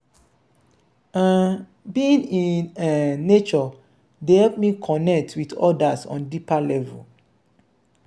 um being in um nature dey help me connect with odas on deeper level.